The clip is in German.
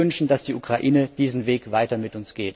Wir wünschen, dass die Ukraine diesen Weg weiter mit